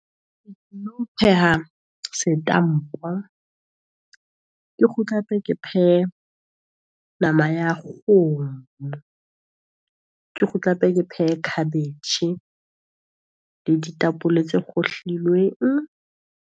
Pheha setampo, ke kgutla hape ke phehe nama ya kgomo, Ke kgutla hape ke phehe khabetjhe le ditapole tse kgohlilweng.